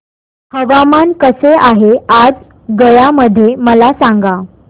हवामान कसे आहे आज गया मध्ये मला सांगा